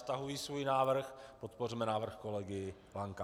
Stahuji svůj návrh, podpořme návrh kolegy Lanka.